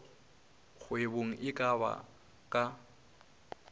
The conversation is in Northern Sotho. kgwebong e ka ba ka